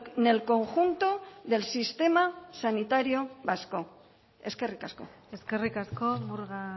en el conjunto del sistema sanitario vasco eskerrik asko eskerrik asko murga